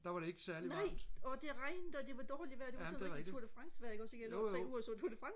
nej og det regnede og det var dårligt vejr det var sådan rigtig tour det france vejr ikke også ikke jeg lå tre uger og så tour det france